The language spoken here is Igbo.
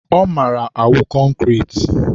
ọ mara awụ concrete.